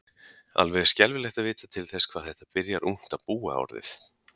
Alveg er skelfilegt að vita til þess hvað þetta byrjar ungt að búa orðið.